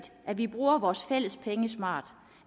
at vi bruger vores fælles penge smart